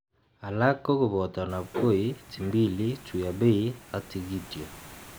Alak kokoboto nabkoi, timbili, tuiyabei ak tigityo